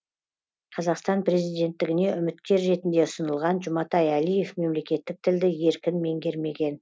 қазақстан президенттігіне үміткер ретінде ұсынылған жұматай алиев мемлекеттік тілді еркін меңгермеген